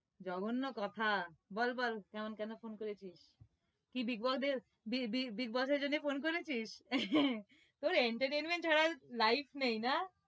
জঘন্য কথা বল বল কেমন কেন phone করেছিস? কি bigboss bigboss এর জন্য phone করেছিস? তোর entertainment ছাড়া আর life নেই না?